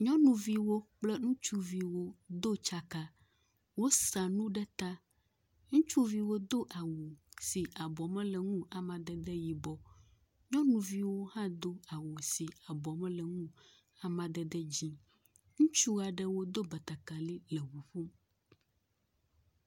Nyɔnuviwo kple ŋutsuviwo do dzaka, wosa nu ɖeka. Ŋutsuviwo do awu si abɔ mele ŋu o amadede yibɔ, nyɔnuviwo hã do awu si abɔ mele ŋu o amadede dzɛ̃. Ŋutsua ɖewo do batakali le ŋu ƒom.